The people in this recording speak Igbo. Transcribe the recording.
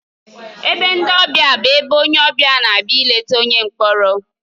Ebe ndị ọbịa bụ ebe onye ọbịa na-abịa ileta onye mkpọrọ.